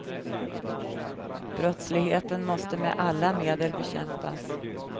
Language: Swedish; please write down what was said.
Brottsligheten måste med alla medel bekämpas.